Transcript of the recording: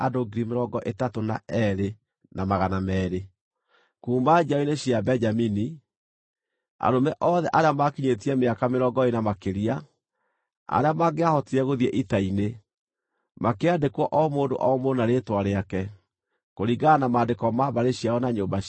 Kuuma njiaro-inĩ cia Benjamini: Arũme othe arĩa maakinyĩtie mĩaka mĩrongo ĩĩrĩ na makĩria, arĩa mangĩahotire gũthiĩ ita-inĩ, makĩandĩkwo o mũndũ o mũndũ na rĩĩtwa rĩake, kũringana na maandĩko ma mbarĩ ciao na nyũmba ciao.